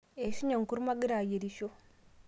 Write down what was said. eishunye enkurma agira aiyierisho